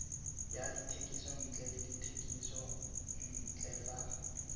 ya dithekontle le dithekisontle tsa